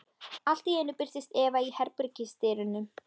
Allt í einu birtist Eva í herbergisdyrunum.